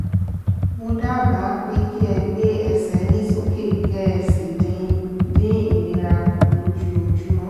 mo dábàá pé kí ẹ gbé ẹsẹ̀ yín sókè kẹ́ ẹ sì dín ìnira kù lójoojúmọ́